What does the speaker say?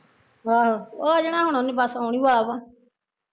ਆਹੋ, ਆ ਜਾਣਾ ਉਹਨੇ ਬਸ ਆਉਣ ਈ ਵਾਲਾ ਵਾ